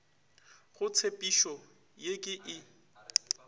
go tshepišo ye ke e